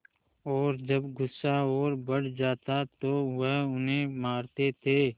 और जब गुस्सा और बढ़ जाता तो वह उन्हें मारते थे